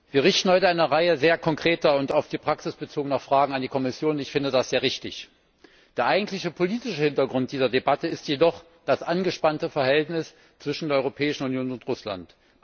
Wir richten heute eine Reihe sehr konkreter und auf die Praxis bezogener Fragen an die Kommission. Das finde ich sehr richtig. Der eigentliche politische Hintergrund dieser Debatte ist jedoch das angespannte Verhältnis zwischen der Europäischen Union und Russland.